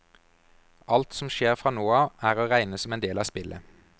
Alt som skjer fra nå av er å regne som en del av spillet.